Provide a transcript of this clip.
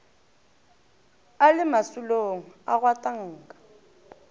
a le masolong a gwatanka